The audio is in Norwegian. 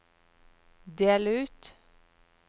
del ut